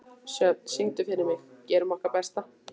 Sjöfn, syngdu fyrir mig „Gerum okkar besta“.